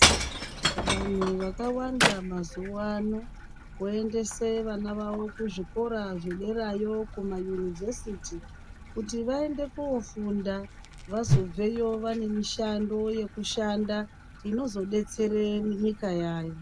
Vanhu vakawanda mazuwa ano voendese vana vavo kuzvikora zvederayo kumayunivhesiti , vaende kofunda kuti vazobveyo vane mishando yekushanda inozodetsere nyika yayo.